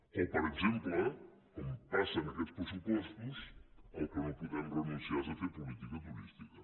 o per exemple com passa en aquests pressupostos al que no podem renunciar és a fer política turística